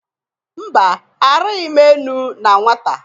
Mba! Arịghị m enu na nwata.